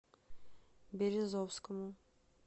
березовскому